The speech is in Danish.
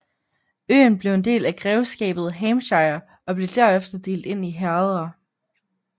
Øen blev en del af grevskabet Hampshire og blev derefter delt ind i herreder